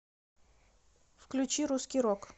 включи русский рок